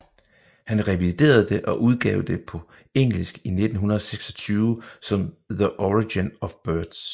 Han reviderede det og udgav det på engelsk i 1926 som The Origin of Birds